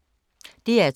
DR2